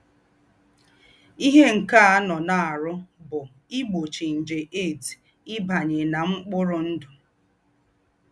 Íhé nké ànọ́ nà-àrụ́ bú ígbóchí njè HIV íbányé ná m̀kpùrù ǹdụ́.